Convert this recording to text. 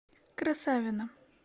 красавино